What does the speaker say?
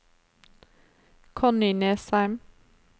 Connie Nesheim